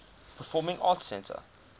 performing arts center